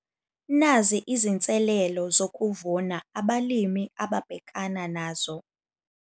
Nazi izinselelo zokuvuna abalimi ababhekana nazo